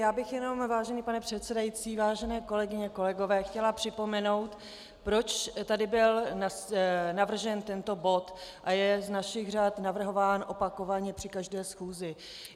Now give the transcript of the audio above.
Já bych jenom, vážený pane předsedající, vážené kolegyně, kolegové, chtěla připomenout, proč tady byl navržen tento bod a je z našich řad navrhován opakovaně při každé schůzi.